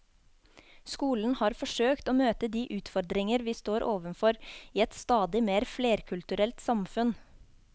Skolen har forsøkt å møte de utfordringer vi står overfor i et stadig mer flerkulturelt samfunn.